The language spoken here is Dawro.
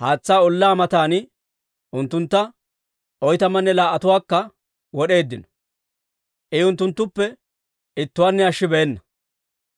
haatsaa ollaa matan unttuntta oytamanne laa"atuwaakka wod'eeddino; I unttunttupe ittuwaanne ashshibeenna.